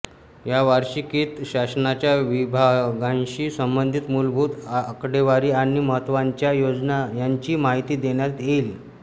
या वार्षिकीत शासनाच्या विभागांशी संबंधित मूलभूत आकडेवारी आणि महत्त्वाच्या योजना यांची माहिती देण्यात येईल